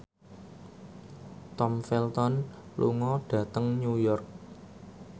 Tom Felton lunga dhateng New York